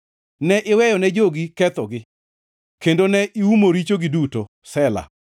Ne iweyone jogi kethogi kendo ne iumo richogi duto. Sela